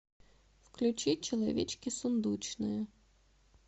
включи человечки сундучные